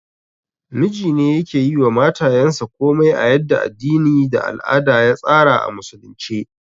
Mijine yake yiwa matayansa komai a yadda addini da al'ada ya tsara a Musulunci